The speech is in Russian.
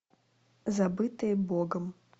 забытые богом